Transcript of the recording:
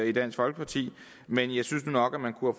i dansk folkeparti men jeg synes nu nok at man kunne